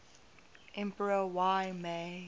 emperor y mei